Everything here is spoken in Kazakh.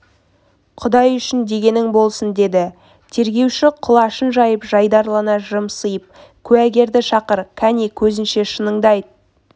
құдай үшін дегенің болсын деді тергеуші құлашын жайып жайдарлана жымсиып куәгерді шақыр кәне көзінше шыныңды айт